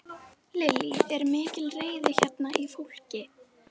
Lillý: Er mikil reiði hérna í fólki?